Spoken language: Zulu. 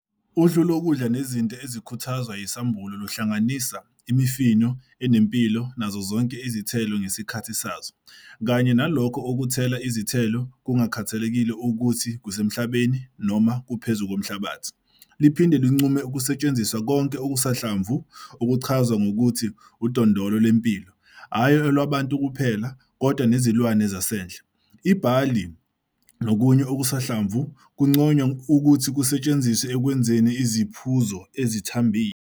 Uhlu lokudla nezinto ezikhuthazwa yisambulo luhlanganisa "imifino enempilo nazo zonke izithelo ngesikhathi sazo" kanye "nalokho okuthela izithelo, kungakhathaliseki ukuthi kusemhlabeni noma phezu komhlabathi". Liphinde linqume ukusetshenziswa "konke okusanhlamvu" okuchazwa ngokuthi "udondolo lwempilo, hhayi olwabantu kuphela kodwa nezilwane zasendle". Ibhali nokunye okusanhlamvu kunconywa ukuthi kusetshenziswe ekwenzeni "iziphuzo ezithambile".